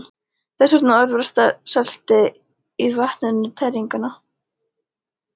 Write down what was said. Þess vegna örvar selta í vatninu tæringuna.